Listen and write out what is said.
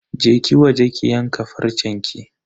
Je ki waje ki yanka farcenki.